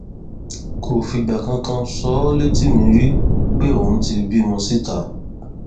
kò fìgbà kankan sọ ọ létí mi rí pé òun ti bímọ síta